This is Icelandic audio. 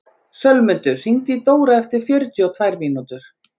Sölmundur, hringdu í Dóra eftir fjörutíu og tvær mínútur.